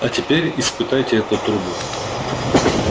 а теперь испытайте эту трубу